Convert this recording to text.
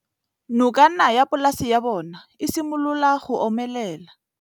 Nokana ya polase ya bona, e simolola go omelela.